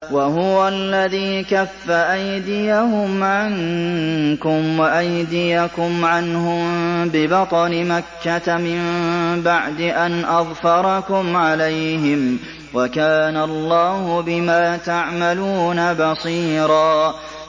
وَهُوَ الَّذِي كَفَّ أَيْدِيَهُمْ عَنكُمْ وَأَيْدِيَكُمْ عَنْهُم بِبَطْنِ مَكَّةَ مِن بَعْدِ أَنْ أَظْفَرَكُمْ عَلَيْهِمْ ۚ وَكَانَ اللَّهُ بِمَا تَعْمَلُونَ بَصِيرًا